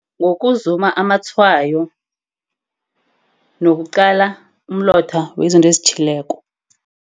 Ngokuzuma amatshwayo nokuqala umlotha wezinto ezitjhileko.